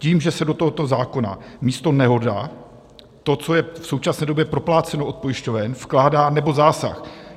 Tím, že se do tohoto zákona místo nehoda - to, co je v současné době propláceno od pojišťoven - vkládá nebo zásah.